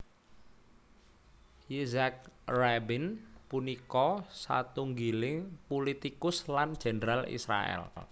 Yitzhak Rabin punika satunggiling pulitikus lan jendral Israèl